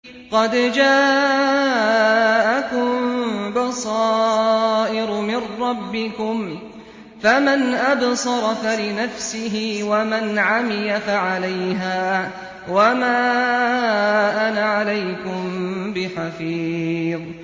قَدْ جَاءَكُم بَصَائِرُ مِن رَّبِّكُمْ ۖ فَمَنْ أَبْصَرَ فَلِنَفْسِهِ ۖ وَمَنْ عَمِيَ فَعَلَيْهَا ۚ وَمَا أَنَا عَلَيْكُم بِحَفِيظٍ